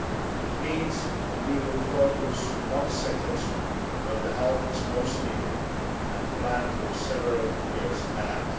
It means we will focus on sectors where the help is most needed, and plan for several years ahead.